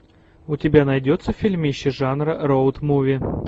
у тебя найдется фильмище жанра роуд муви